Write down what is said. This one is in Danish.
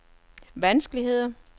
vanskeligheder